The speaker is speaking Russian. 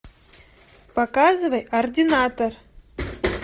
показывай ординатор